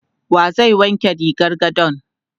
Wa zai wanke rigar gadon?